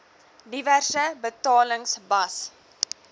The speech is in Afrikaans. diverse betalings bas